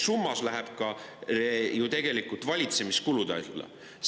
Summana läheb see ju tegelikult valitsemiskulude alla.